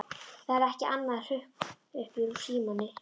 Það er ekkert annað hrökk upp úr Símoni.